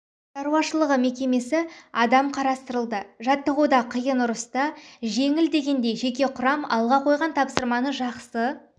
шаруашылығы мекемесі адам қатыстырылды жаттығуда қиын ұрыста жеңіл дегендей жеке құрам алға қойған тапсырманы жақсы